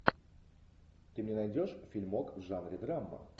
ты мне найдешь фильмок в жанре драма